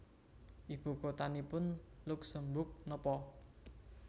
Ibu kotanipun Luksemburg nopo